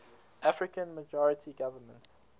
african majority government